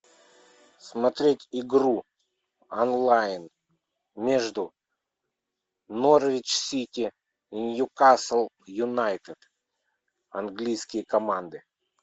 смотреть игру онлайн между норвич сити ньюкасл юнайтед английские команды